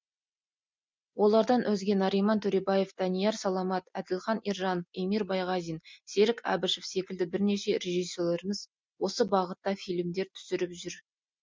олардан өзге нариман төребаев данияр саламат әділхан ержанов эмир байғазин серік әбішев секілді бірнеше режиссерлеріміз осы бағытта фильмдер түсіріп жүр